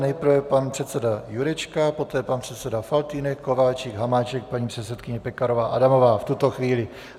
Nejprve pan předseda Jurečka, poté pan předseda Faltýnek, Kováčik, Hamáček, paní předsedkyně Pekarová Adamová v tuto chvíli.